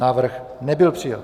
Návrh nebyl přijat.